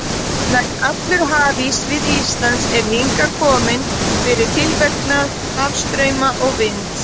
Nær allur hafís við Ísland er hingað kominn fyrir tilverknað hafstrauma og vinds.